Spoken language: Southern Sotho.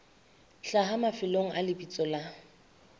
hlaha mafelong a lebitso la